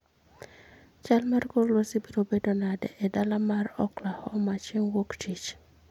chal mar kor lwasi biro bedo nade e dala mar oklahoma chieng ' Wuok Tich